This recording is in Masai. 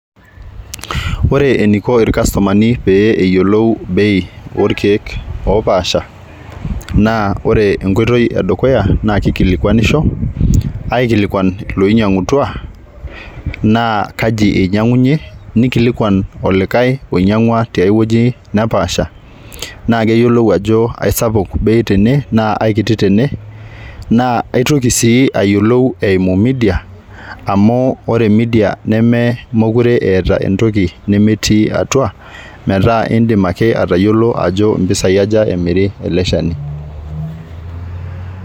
Ore eniko irkastomani pee eyiolou bei orkiek opasha naa ore enkoitoi edukuya naa kikilikwanisho aikilikwan iloinyiangutua naa kaji inyiangunyie, nikilikwan olikae oinyingwa tewuei nepaasha naa keyiolou ajo aisapuk bei tene naa aikiti tene, naa aitoki sii ayiolou eimu media amu ore media nemekure eeta entoki nemetii atua metaa indim ake atayiolo ajo mpisai aja emiri eleshani.